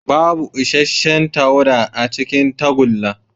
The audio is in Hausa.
Babu isasshen tawada a cikin tagulla.